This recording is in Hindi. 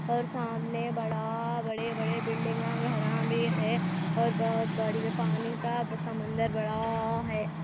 और सामने बड़ा बड़े बड़े बिल्डिंग है और बोहोत बड़ी पानी का समंदर बड़ा आ है ।